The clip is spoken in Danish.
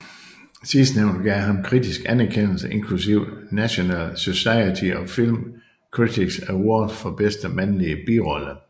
Sidstnævnte gav ham kritisk anerkendelse inklusiv National Society of Film Critics Award for bedste mandlige birolle